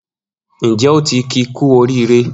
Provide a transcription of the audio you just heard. Njẹ o ti ki ku orire?